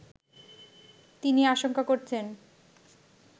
তিনি আশঙ্কা করছেন